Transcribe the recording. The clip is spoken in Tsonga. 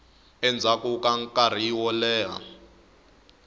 endzhaku ka nkarhi wo leha